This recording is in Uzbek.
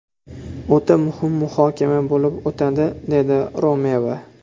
O‘ta muhim muhokama bo‘lib o‘tadi”, dedi Romeva.